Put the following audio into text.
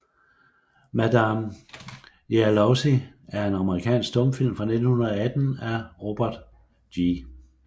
Madame Jealousy er en amerikansk stumfilm fra 1918 af Robert G